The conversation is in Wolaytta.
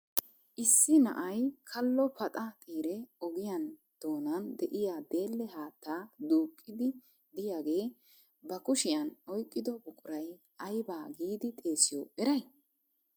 Issi na'ay kallo paxa xiire ogiyaan doonan de'iyaa deelle haatta duuqide de'iyaage ba kushiyan oyqqido buqura ayba giidi xeessiyo eray?